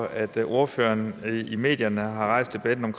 at ordføreren i medierne har rejst debatten om